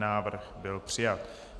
Návrh byl přijat.